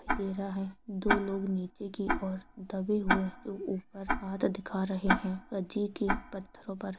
दे रहा है दो लोग नीचे की और दबे हुए जो ऊपर हाथ दिखा रहे है कजी की पत्थरो पर--